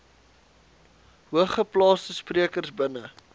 hoogeplaasde sprekers binne